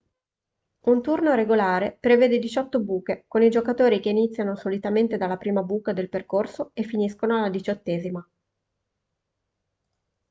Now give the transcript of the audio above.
un turno regolare prevede diciotto buche con i giocatori che iniziano solitamente dalla prima buca del percorso e finiscono alla diciottesima